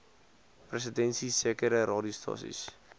presidensie sekere radiostasies